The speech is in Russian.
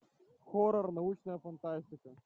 хоррор научная фантастика